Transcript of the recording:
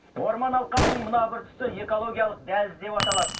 орман алқабының мына тұсы экологиялық дәліз деп аталады